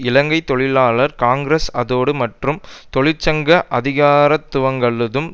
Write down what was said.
இலங்கை தொழிலாளர் காங்கிரஸ் அத்தோடு தொழிற்சங்க அதிகாரத்துவங்களதும்